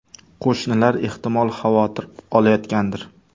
Qo‘shnilar ehtimol, xavotir olayotgandir.